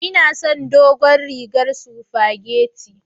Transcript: Inason dogon rigar sufageti.